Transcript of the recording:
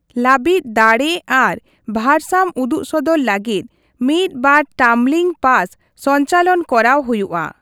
ᱞᱟᱹᱵᱤᱫ, ᱫᱟᱲᱮ ᱟᱨ ᱵᱷᱟᱨᱥᱟᱢᱚ ᱩᱫᱩᱜᱥᱚᱫᱚᱨ ᱞᱟᱹᱜᱤᱫ ᱢᱤᱫ ᱵᱟᱨ ᱴᱟᱢᱵᱞᱤᱝ ᱯᱟᱥ ᱥᱚᱧᱪᱟᱞᱚᱱ ᱠᱚᱨᱟᱣ ᱦᱩᱭᱩᱜᱼᱟ ᱾